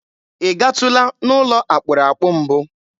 Ị gatụla n'ụlọ akpụrụakpụ mbụ?